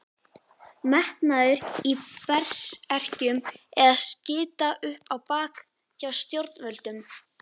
Metnaður í Berserkjum eða skita upp á bak hjá stjórnvöldum?